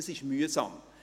Das ist mühsam.